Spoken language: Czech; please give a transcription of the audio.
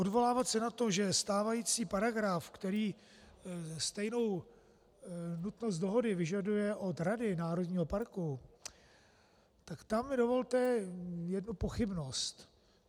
Odvolávat se na to, že stávající paragraf, který stejnou nutnost dohody vyžaduje od rady národního parku, tak tam mi dovolte jednu pochybnost.